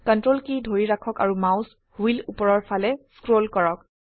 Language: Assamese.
Ctrl কী ধৰি ৰাখক আৰু মাউস হুইল উপৰৰ ফালে স্ক্ৰল কৰক